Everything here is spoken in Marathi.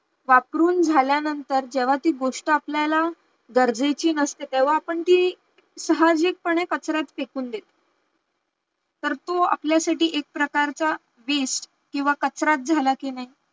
वापरून झाल्यानंतर जेव्हा ती गोष्ट आपल्याला गरजेची नसते तेव्हा आपण ती, साहजिक पने कचऱ्यात फेकून देतो तर तो आपल्यासाठी एक प्रकारचा waste किंवा कचराच झाला कि नाही